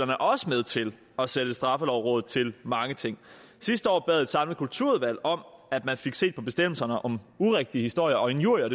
er også med til at sætte straffelovrådet til mange ting sidste år bad et samlet kulturudvalg om at man fik set på bestemmelserne om urigtige historier og injurier